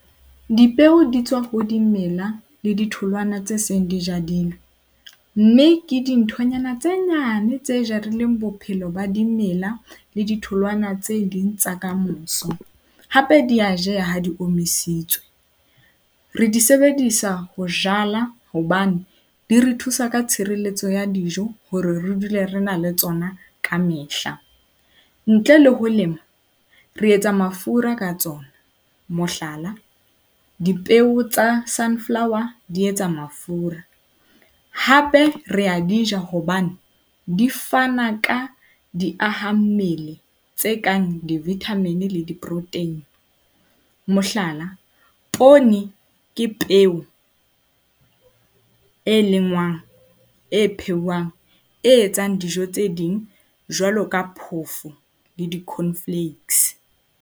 Dipeo di tswa ho dimela le ditholwana tse seng di jadilwe. Mme ke dinthonyana tse nyane tse jarileng bophelo ba dimela le ditholwana tse ding tsa kamoso. Hape di a jeha ha di omisitswe. Re di sebedisa ho hobane di re thusa ka tshireletso ya dijo hore re dule re na le tsona ka mehla. Ntle le ho lema, re etsa mafura ka tsona. Mohlala tsa sunflower di etsa mafura. Hape re di a ja, hobane di fana ka diahammele tse kang di-vitamin le diporoteini. Mohlala, poone ke peo e lengwang, e phehuwang, e etsang dijo tse ding jwalo ka phoofo le di-corn flakes.